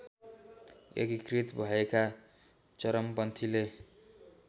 एकीकृत भएका चरमपन्थीले